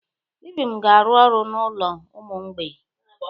Ibim ga-arụ ọrụ n'ụlọ ụmụ mgbei.